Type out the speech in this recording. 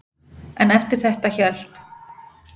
En eftir þetta hélt